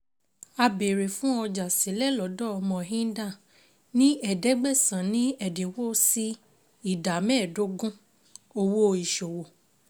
A béèrè fún ọjà sílẹ̀ lọ́dọ̀ Mohinder ní ẹ̀ẹ́dẹ́gbẹ̀sán ní ẹ̀dínwó sí ìdá mẹ́ẹ̀dógún owó ìṣòwò.